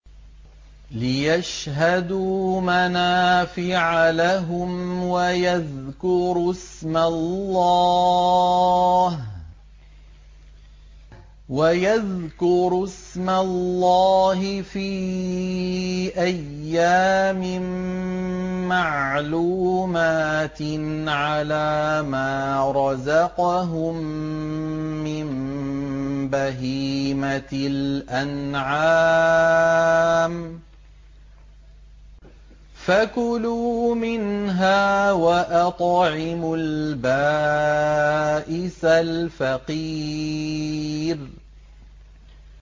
لِّيَشْهَدُوا مَنَافِعَ لَهُمْ وَيَذْكُرُوا اسْمَ اللَّهِ فِي أَيَّامٍ مَّعْلُومَاتٍ عَلَىٰ مَا رَزَقَهُم مِّن بَهِيمَةِ الْأَنْعَامِ ۖ فَكُلُوا مِنْهَا وَأَطْعِمُوا الْبَائِسَ الْفَقِيرَ